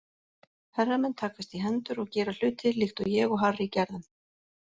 Herramenn takast í hendur og gera hluti líkt og ég og Harry gerðum.